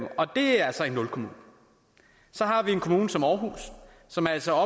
og det er så en nulkommune så har vi en kommune som aarhus som altså